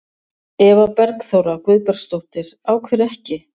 Eva Bergþóra Guðbergsdóttir: Af hverju ekki?